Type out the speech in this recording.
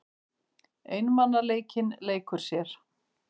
Einmanaleikinn leikur sér.